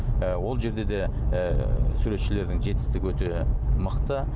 ы ол жерде де і суретшілердің жетістігі өте мықты